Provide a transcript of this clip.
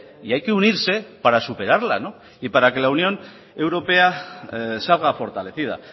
y hay que unirse para superarla y para que la unión europea salga fortalecida